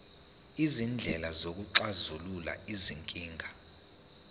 izindlela zokuxazulula izinkinga